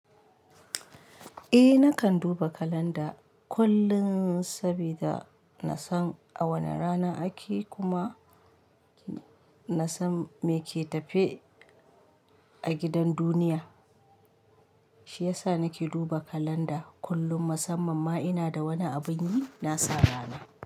Eh nakan duba kalanda kullun sabida na san a wane rana ake kuma nasan meke tafe a gidan duniya shiyasa nake duba kalanda kullum musamman ma inada wani abunyi nasa rana.